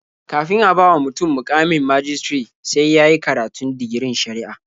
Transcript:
Kafin a bawa mutum muƙamin majistare sai ya yi karatun digirin shari'a.